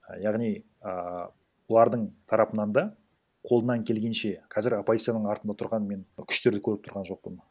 яғни ааа бұлардың тарапынан да қолынан келгенше қазір оппозицияның артында тұрған мен күштерді көріп тұрған жоқпын